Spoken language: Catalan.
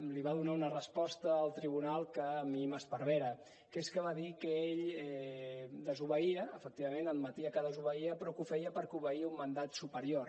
li va donar una resposta al tribunal que a mi m’esparvera que és que va dir que ell desobeïa efectivament admetia que desobeïa però que ho feia perquè obeïa a un mandat superior